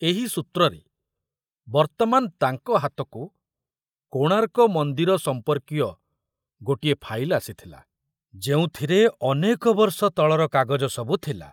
ଏହି ସୂତ୍ରରେ ବର୍ତ୍ତମାନ ତାଙ୍କ ହାତକୁ କୋଣାର୍କ ମନ୍ଦିର ସମ୍ପର୍କୀୟ ଗୋଟିଏ ଫାଇଲ ଆସିଥିଲା, ଯେଉଁଥରେ ଅନେକ ବର୍ଷ ତଳର କାଗଜ ସବୁ ଥିଲା।